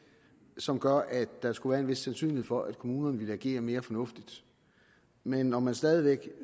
som gør at der skulle være en vis sandsynlighed for at kommunerne vil agere mere fornuftigt men når man stadig væk